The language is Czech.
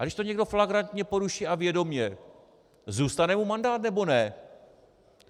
A když to někdo flagrantně poruší a vědomě, zůstane mu mandát, nebo ne?